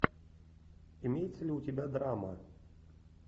имеется ли у тебя драма